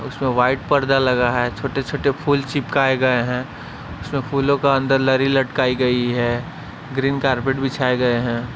उसमें वाइट पर्दा लगा है छोटे-छोटे फूल चिपकाए गए हैं उसमें फूलों का अंदर लरी लटकाई गई है ग्रीन कारपेट बिछाए गए हैं।